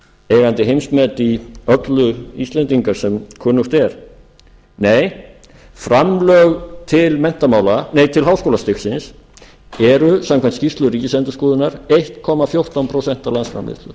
eigandi heimsmet í öllu íslendingar sem kunnugt er nei framlög til háskólastigsins eru samkvæmt skýrslu ríkisendurskoðunar eins komma fjórtán prósent af landsframleiðslu